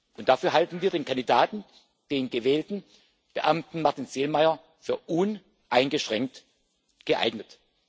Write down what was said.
Und dafür halten wir den Kandidaten, den gewählten Beamten Martin Selmayr, für uneingeschränkt geeignet.